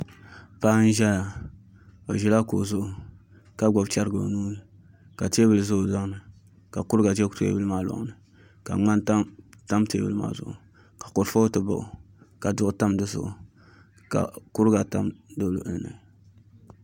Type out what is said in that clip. Paɣa n ʒɛya o ʒila kuɣu zuɣu ka gbubi chɛrigi o nuuni ka teebuli ʒɛ o tooni ka kuriga ʒɛ teebuli maa loŋni ka ŋmani tam teebuli maa zuɣu ka kurifooti baɣa o ka duɣu tam dizuɣu ka kuriga tam di luɣuli ni